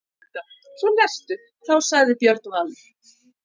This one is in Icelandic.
Þá sagði Björn Valur: